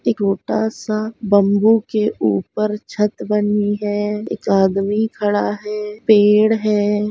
एक ओटा -सा बम्बू के ऊपर छत बनी हैएक आदमी खड़ा हैपेड़ है।